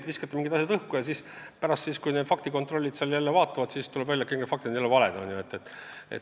Te viskate mingid asjad õhku ja kui faktikontrollid on need üle vaadanud, siis tuleb välja, et kõik need väited on valed olnud.